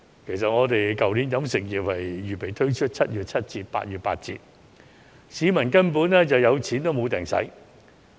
其實，去年飲食業原訂推出7月七折、8月八折的優惠，可惜市民有錢也未能消費。